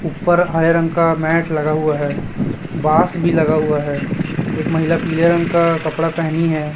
ऊपर हरे रंग का मैट लगा हुआ है बास भी लगा हुआ है एक महिला पीले रंग का कपड़ा पहनी है।